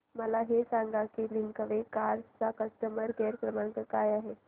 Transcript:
मला हे सांग की लिंकवे कार्स चा कस्टमर केअर क्रमांक काय आहे